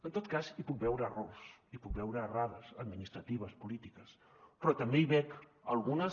en tot cas hi puc veure errors hi puc veure errades administratives polítiques però també hi veig algunes